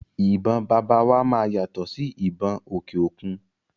Ìbọn bàbá wa máa yàtọ̀ sí ìbọn òkè òkun.